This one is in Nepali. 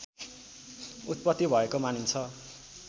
उत्पत्ति भएको मानिन्छ